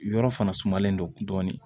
Yɔrɔ fana sumalen don dɔɔnin